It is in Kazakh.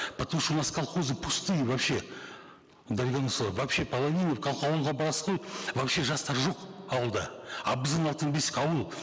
потому что у нас колхозы пустые вообще дарига нурсултановна вообще половина как ауылға барасыз ғой вообще жастар жоқ ауылда а біздің алтын бесік ауыл